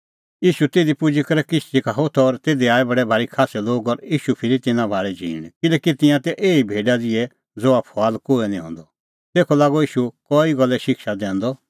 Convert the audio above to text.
ईशू तिधी पुजी करै किश्ती का होथअ और तिधी आऐ बडै भारी खास्सै लोग और ईशू फिरी तिन्नां भाल़ी झींण किल्हैकि तिंयां तै एही भेडा ज़िहै ज़हा फुआल कोहै निं हंदअ तेखअ लागअ ईशू कई गल्ले शिक्षा दैंदअ